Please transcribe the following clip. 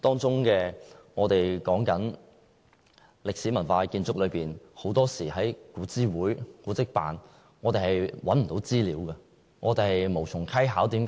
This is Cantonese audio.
說到歷史文化建築，很多時，我們在古諮會或古蹟辦是找不到資料的。